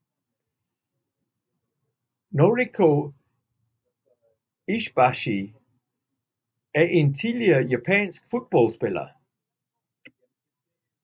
Noriko Ishibashi er en tidligere japansk fodboldspiller